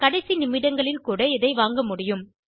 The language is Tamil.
கடைசி நிமிடங்களில் கூட இதை வாங்க முடியும்